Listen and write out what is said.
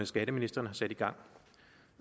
skatteministeren har sat i gang